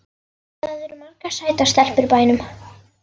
Það eru margar sætar stelpur í bænum.